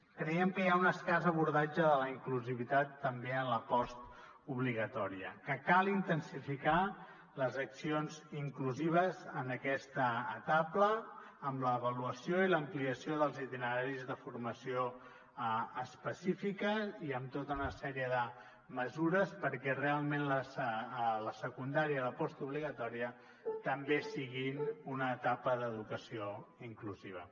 creiem que hi ha un escàs abordatge de la inclusivitat també en la postobligatòria que cal intensificar les accions inclusives en aquesta etapa amb l’avaluació i l’ampliació dels itineraris de formació específica i amb tota una sèrie de mesures perquè realment la secundària i la postobligatòria també siguin una etapa d’educació inclusiva